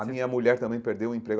A minha mulher também perdeu o emprego.